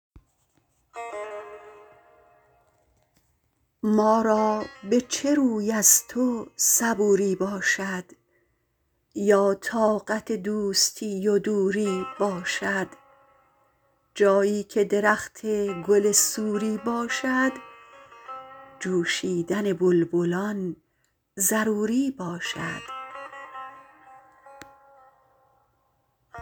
ما را به چه روی از تو صبوری باشد یا طاقت دوستی و دوری باشد جایی که درخت گل سوری باشد جوشیدن بلبلان ضروری باشد